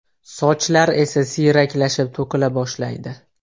Sochlar esa siyraklashib, to‘kila boshlaydi.